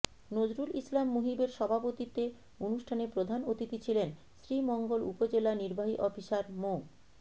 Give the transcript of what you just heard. নজরুল ইসলাম মুহিবের সভাপতিত্বে অনুষ্ঠানে প্রধান অতিথি ছিলেন শ্রীমঙ্গল উপজেলা নির্বাহী অফিসার মো